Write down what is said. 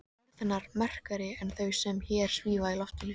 Orð hennar merkari en þau sem hér svífa í loftinu.